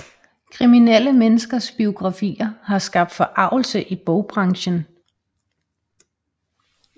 Kriminelle menneskers biografier har skabt forargelse i bogbranchen